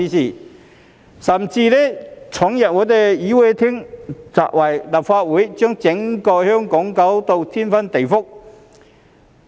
他們甚至闖入議事廳，砸毀立法會，將整個香港弄得天翻地覆。